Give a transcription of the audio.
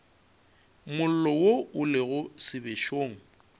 mollo wo o lego sebešong